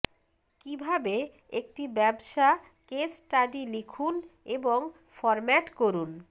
কিভাবে একটি ব্যবসা কেস স্টাডি লিখুন এবং ফরম্যাট করুন